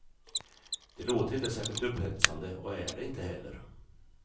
Det låter inte särskilt upphetsande och är det inte heller.